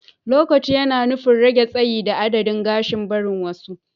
lowcat yana nufin rage tsayi da adadin gashin barin wasu.